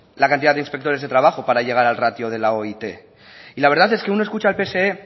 la cantidad de inspectores de trabajo para llagar al ratio de la oit y la verdad es que uno escucha al pse